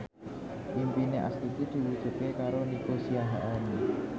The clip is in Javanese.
impine Astuti diwujudke karo Nico Siahaan